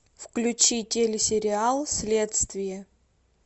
включи телесериал следствие